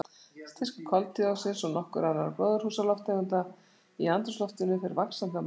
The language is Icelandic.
Styrkur koltvíoxíðs og nokkurra annarra gróðurhúsalofttegunda í andrúmsloftinu fer vaxandi af mannavöldum.